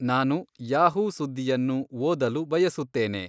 ನಾನು ಯಾಹೂ ಸುದ್ದಿಯನ್ನು ಓದಲು ಬಯಸುತ್ತೇನೆ